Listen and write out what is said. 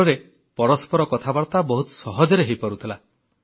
ଫଳରେ ପରସ୍ପର କଥାବାର୍ତ୍ତା ବହୁତ ସହଜରେ ହୋଇପାରୁଥିଲା